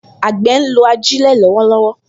Àgbẹ̀ ń lo ajílẹ̀ lọ́wọ́lọ́wọ́